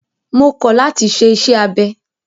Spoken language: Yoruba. Mo kọ̀ láti ṣe iṣẹ́ abẹ!